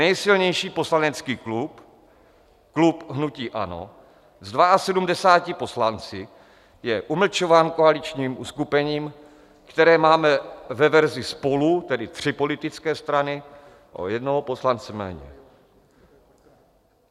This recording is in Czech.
Nejsilnější poslanecký klub, klub hnutí ANO se 72 poslanci, je umlčován koaličním uskupením, které máme ve verzi SPOLU, tedy tři politické strany, o jednoho poslance méně.